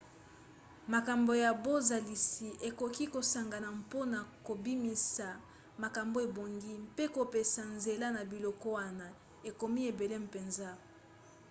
makambo ya bozalisi ekoki kosangana mpona kobimisa makambo ebongi mpe kopesa nzela na biloko wana ekomi ebele mpenza